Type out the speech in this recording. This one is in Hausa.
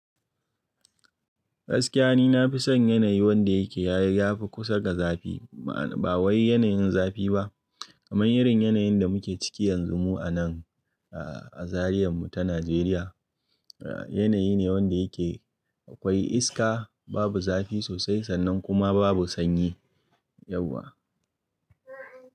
Gaskiya ni na fi son yanayi wanda yake ya fi kusa da zafi. Ba wai yanayin zafi ba kamar irin yanayin da muke ciki yanzu mu a nan a Zariyar mu ta Najeriya. Yanayi ne wanda yake akwai iska, babu zafi sosai sannan kuma babu sanyi yauwa.